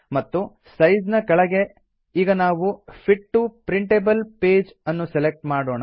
ಮತ್ತು ಸೈಜ್ ನ ಕೆಳಗೆ ಈಗ ನಾವು ಫಿಟ್ ಟಿಒ ಪ್ರಿಂಟೇಬಲ್ ಪೇಜ್ ನ್ನು ಸೆಲೆಕ್ಟ್ ಮಾಡೋಣ